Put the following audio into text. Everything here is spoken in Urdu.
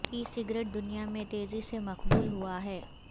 ای سگریٹ دنیا میں تیزی سے مقبول ہوا ہے